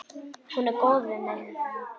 Hún er góð við mig.